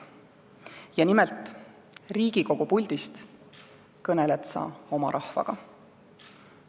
Ja nimelt, Riigikogu puldist kõneled sa oma rahvaga.